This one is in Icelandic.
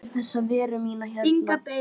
Að ég hafði séð fyrir þessa veru mína hérna.